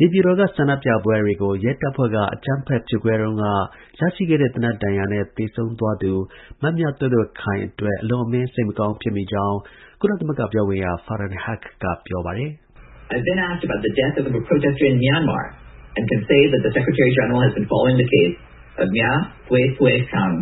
နေပြည်တော်က ဆန္ဒပြပွဲကို ရဲတပ်ဖွဲ့က အကြမ်းဖက် ဖြိုခွဲတုန်း ရရှိတဲ့ သေနတ်ဒဏ်ရာနဲ့ ကွယ်လွန် သွားသူ မမြသွဲ့သွဲ့ခိုင် အတွက်အလွန် အမင်း စိတ်မကောင်းဖြစ်မိတယ်လို့ UN ကုလသမဂ္ဂ ပြောခွင့်ရ Farhan Haq ကပြောပါတယ်။ "မမြသွဲ့သွဲ့ခိုင်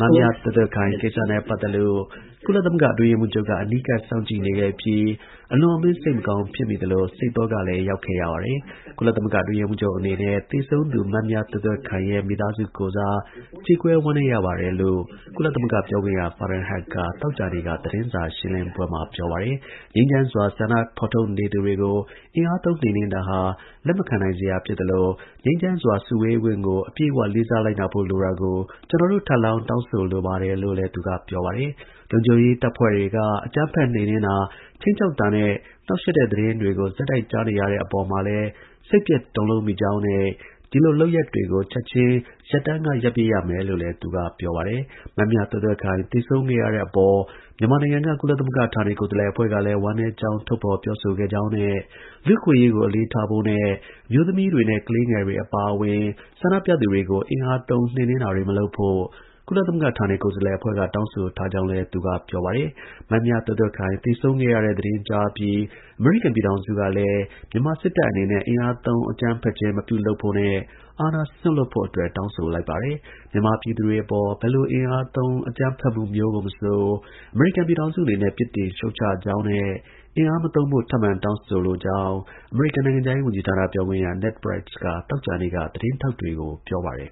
ကိစ္စနဲ့ ပတ်သက်လို့ ကုလသမဂ္ဂအတွင်းရေးမှုးချုပ်က အနီးကပ် စောင့်ကြည့်နေခဲ့ပြီး အလွန်အမင်း စိတ်မကောင်း ဖြစ်မိ သလို စိတ်သောကလည်း ရောက်ခဲ့ရပါတယ်။ ကုလ အတွင်းရေးမှူးချုပ်အနေနဲ့ သေဆုံးသူ မမြသွဲ့သွဲ့ခိုင်ရဲ့မိသားစုကိုယ်စား ကြေကွဲ ဝမ်းနည်းရပါတယ်" လို့ ကုလ ပြောခွင့်ရ Farhan Haq က သောကြာနေ့က သတင်းစာ ရှင်းလင်းပွဲမှာ ပြောပါတယ်။ ငြိမ်းချမ်းစွာ ဆန္ဒဖော်ထုတ်သူတွေကို အင်အားသုံးနှိမ်နှင်းတာဟာ လက်မခံနိုင်စရာဖြစ်သလို ငြိမ်းချမ်းစွာ စုဝေးခွင့်ကို အပြည့်အဝ လေးစားလိုက်နာဖို့လိုတာကို ကျွန်တော်တို့ ထပ်လောင်း တောင်းဆိုလိုပါတယ်လို့လည်း သူက ပြောပါတယ်။ လုံခြုံရေးတပ်ဖွဲ့တွေက အကြမ်းဖက်နှိမ်နှင်းတာ ၊ခြိမ်းခြောက်တာနဲ့ နှောက်ယှက်တဲ့ သတင်းတွေကို ဆက်တိုက်ကြားနေရတဲ့ အပေါ် စိတ်ပျက်တုန်လှုပ်မိကြောင်းနဲ့ ဒီလိုလုပ်ရပ်တွေကို ချက်ချင်း ရပ်တန်းက ရပ်ပစ်ရမယ်လည်း သူက ပြောပါတယ်။ မမြသွဲ့သွဲ့ခိုင် သေဆုံးခဲ့ရတဲ့အပေါ် မြန်မာနိုင်ငံက ကုလသမဂ္ဂ ဌာနေကိုယ်စားလှယ် အဖွဲ့ကလည်း ဝမ်းနည်းကြောင်း ထုတ်ဖော် ပြော ဆိုခဲ့ကြောင်းနဲ့ လူ့အခွင့်အရေးကို အလေးထားဖို့နဲ့ အမျိုးသမီးတွေနဲ့ ကလေးငယ်တွေအပါအဝင် ဆန္ဒပြသူတွေကို အင်အား သုံးနှိမ်နှင်း တာတွေမလုပ်ဖို့ ကုလသမဂ္ဂ ဌာနေကိုယ်စားလှယ်အဖွဲ့က တောင်းဆိုထားကြောင်းလည်း သူက ပြောပါတယ်။ မမြသွဲ့သွဲ့ခိုင်သေဆုံးခဲ့တဲ့သတင်းကြားအပြီး အမေရိကန် ပြည်ထောင်စုကလည်း မြန်မာ စစ်တပ်အနေနဲ့ အင်အားသုံး အကြမ်းဖက်ခြင်း မပြု လုပ်ဖို့နဲ့ အာဏာစွန့်လွှတ်ဖို့အတွက်တောင်းဆိုလိုက်ပါတယ်။ မြန်မာ ပြည်သူတွေအပေါ် ဘယ်လို အင်အားသုံး အကြမ်းဖက်မှုမျိုးကို မဆို အမေရိကန် ပြည်ထောင်စုအနေနဲ့ ပြစ်တင် ရှုတ်ချကြောင်း နဲ့အင်အားမသုံးဖို့ ထပ်မံတောင်းဆိုကြောင်းအမေရိကန်နိုင်ငံခြားရေးဌာန ပြောခွင့်ရ Ned Price က သောကြာနေ့က သတင်းထောက် တွေကို ပြောပါတယ်